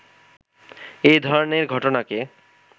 এই ধরনের ঘটনাকে